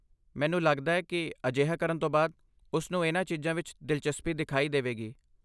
ਮੈਨੂੰ ਲਗਦਾ ਹੈ ਕਿ ਅਜਿਹਾ ਕਰਨ ਤੋਂ ਬਾਅਦ, ਉਸਨੂੰ ਇਹਨਾਂ ਚੀਜ਼ਾਂ ਵਿੱਚ ਦਿਲਚਸਪੀ ਦਿਖਾਈ ਦੇਵੇਗੀ।